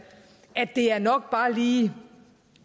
at det er nok bare lige